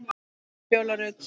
Fjóla Rut.